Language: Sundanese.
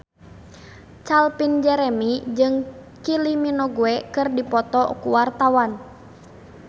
Calvin Jeremy jeung Kylie Minogue keur dipoto ku wartawan